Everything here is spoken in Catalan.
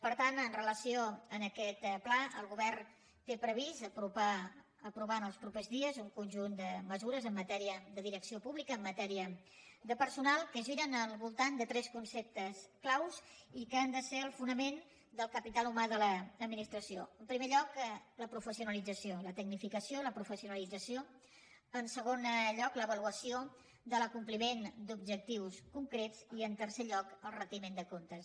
per tant amb relació a aquest pla el govern té previst aprovar en els propers dies un conjunt de mesures en matèria de direcció pública en matèria de personal que giren al voltant de tres conceptes claus i que han de ser el fonament del capital humà de l’adminis tració en primer lloc la professionalització la tecnifica ció la professionalització en segon lloc l’avaluació de l’acompliment d’objectius concrets i en tercer lloc el retiment de comptes